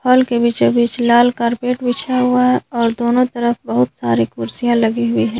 Hall के बीचों बीच लाल कार्पेट बिछाया हुआ है और दोनों तरफ बहुत सारी कुर्सियां लगी हुई हैं।